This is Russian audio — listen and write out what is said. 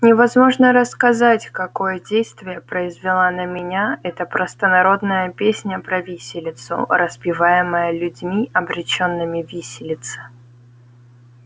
невозможно рассказать какое действие произвела на меня эта простонародная песня про виселицу распеваемая людьми обречёнными виселице